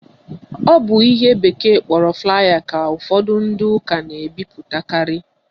Ọ bụ ihe bekee kpọrọ flier ka ụfọdụ ndị ụka na-ebipụtakarị